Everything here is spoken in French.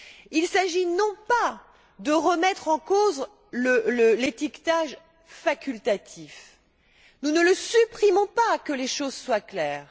Il s'agit non pas de remettre en cause l'étiquetage facultatif nous ne le supprimons pas, que les choses soient claires.